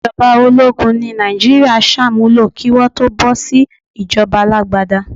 Ìjọba ológun ni Nàìjíríà sàmúlò kí Wọ́n tó bọ́ sí ìjọba alágbádá.